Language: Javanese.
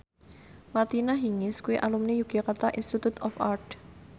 Martina Hingis kuwi alumni Yogyakarta Institute of Art